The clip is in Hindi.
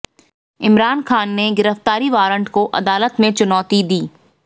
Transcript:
इमरान खान ने गिरफ्तारी वारंट को अदालत में चुनौती दी